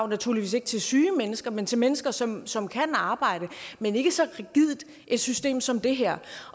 naturligvis ikke til syge mennesker men til mennesker som som kan arbejde men ikke så rigidt et system som det her